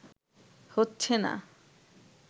হচ্ছে না